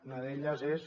una d’elles és